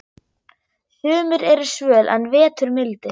Sumur eru svöl en vetur mildir.